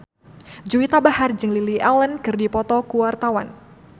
Juwita Bahar jeung Lily Allen keur dipoto ku wartawan